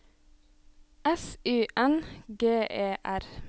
S Y N G E R